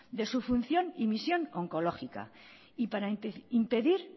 de su función y misión oncológica y para impedir